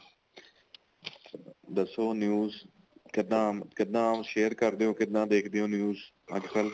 ਦੱਸੋ news ਕਿੱਦਾਂ ਕਿੱਦਾਂ share ਕਰਦੇ ਓ ਕਿਦਾਂ ਦੇਖਦੇ ਓ news ਅੱਜਕਲ